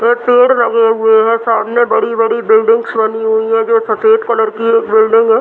वहाँ पेड़ लगे हुए हैं सामने बड़ी-बड़ी बिल्डिंग बनी हुई है जो सफ़ेद कलर की एक बिल्डिंग है ।